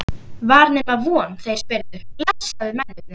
Var nema von þeir spyrðu, blessaðir mennirnir!